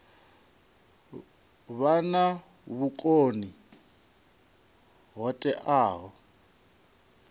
vha na vhukoni ho teaho